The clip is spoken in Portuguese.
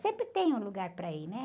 Sempre tem um lugar para ir, né?